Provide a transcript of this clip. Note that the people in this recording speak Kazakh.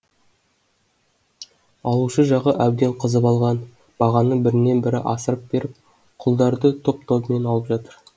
алушы жағы әбден қызып алған бағаны бірінен бірі асырып беріп құлдарды топ тобымен алып жатыр